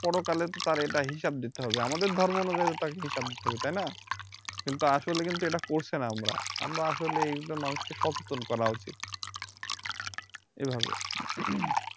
পরকালে তো তার হিসাব দিতে হবে আমাদের ধর্ম অনুযায়ী তাকে তো হিসাব দিতে হইবে তাই না কিন্তু আসলে কিন্তু করছি না আমরা, আমরা আসলে এগুলো মানুষকে সচেতন করা উচিত এভাবে